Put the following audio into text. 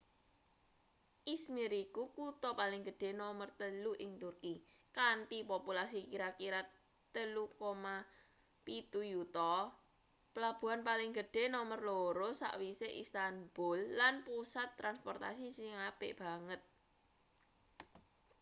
izmir iku kutha paling gedhe nomer telu ing turki kanthi populasi kira-kira 3,7 yuta pelabuhan paling gedhe nomer loro sakwise istanbul lan pusat transportasi sing apik banget